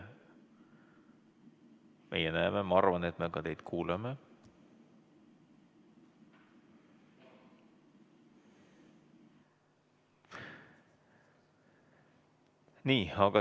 Meie näeme, ma arvan, et me ka kuuleme teid.